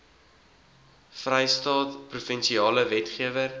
vrystaat provinsiale wetgewer